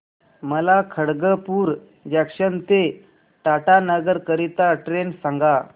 मला खडगपुर जंक्शन ते टाटानगर करीता ट्रेन सांगा